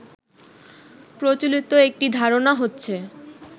প্রচলিত একটি ধারণা হচ্ছে